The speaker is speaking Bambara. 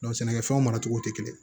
sɛnɛkɛfɛnw maracogo tɛ kelen ye